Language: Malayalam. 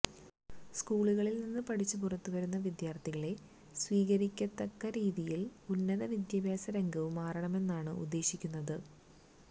സ്കൂളുകളില് നിന്ന് പഠിച്ചു പുറത്തു വരുന്ന വിദ്യാര്ഥികളെ സ്വീകരിക്കത്തക്ക രീതിയില് ഉന്നത വിദ്യാഭ്യാസ രംഗവും മാറണമെന്നാണ് ഉദ്ദേശിക്കുന്നത്